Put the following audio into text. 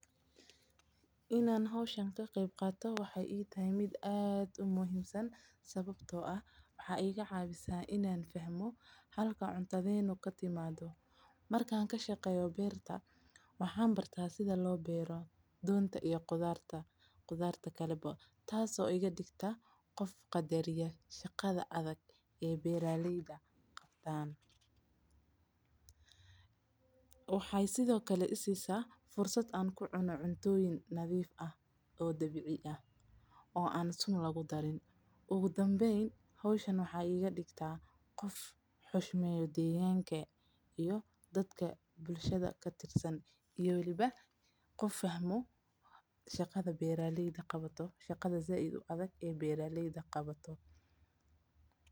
Inaan howshani ka qeeb qaato waxeey ii tahay wax aad muhiimsan waxeey ibarta meesha cuntadeyna aay ka imaato waxaan qabta shaqa adag waxana qadariya shaqada beeraleyda waxaan helaa cuna dabiici ah oo sun lagu darin waxaan kamid noqda bulshada waxaana fahma shaqada beeraleyda aay qabato.